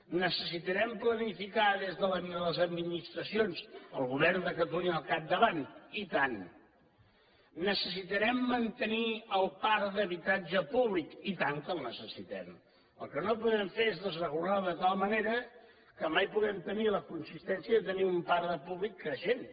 necessitarem planificar des de les administracions el govern de catalunya al capdavant i tant necessitarem mantenir el parc d’habitatge públic i tant que el necessitem el que no podem fer és desregular ho de tal manera que mai puguem tenir la consistència de tenir un parc de públic creixent